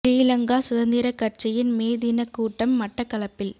ஸ்ரீ லங்கா சுதந்திரக் கட்சியின் மே தினக் கூட்ட ம் மட்டக்களப்பில்